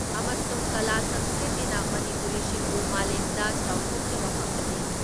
ꯑꯃꯁꯨꯡ ꯀꯂꯥ ꯁꯪꯁꯀ꯭ꯔꯤꯇꯤꯅ ꯃꯅꯤꯄꯨꯔꯤꯁꯤꯡꯕꯨ ꯃꯥꯂꯦꯝꯗ ꯆꯥꯎꯊꯣꯛꯆꯕ ꯐꯪꯍꯜꯂꯤ ꯫